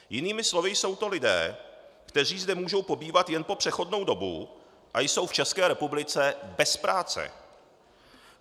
Jinými slovy jsou to lidé, kteří zde můžou pobývat jen po přechodnou dobu a jsou v České republice bez práce.